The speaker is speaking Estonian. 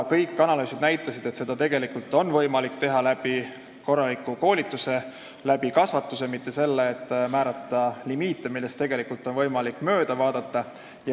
Kõik analüüsid on näidanud, et seda on võimalik teha korraliku koolituse ja kasvatusega, mitte sellega, et määrata limiite, millest tegelikult on võimalik mööda vaadata.